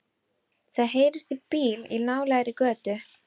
Það heyrist í bíl í nálægri götu.